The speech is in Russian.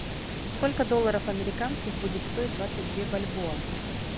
сколько долларов американских будет стоить двадцать две бальбоа